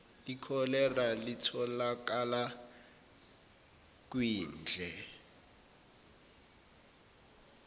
ikholera litholakala kwindle